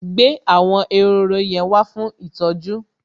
Gbé àwọn ehoro yẹn wá fún ìtọ́jú!